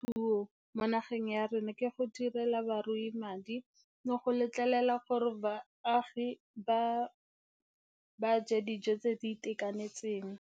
Puo mo nageng ya rona ke go direla barui madi le go letlelela gore baagi ba ja dijo tse di itekanetseng.